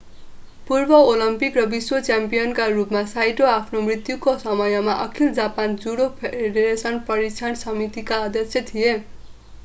पूर्व ओलम्पिक र विश्व च्याम्पियनका रूपमा साइटो आफ्नो मृत्युका समयमा अखिल जापान जुडो फेडरेशन प्रशिक्षण समितिका अध्यक्ष थिए